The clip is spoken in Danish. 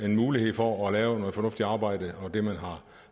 en mulighed for at lave noget fornuftigt arbejde og det man har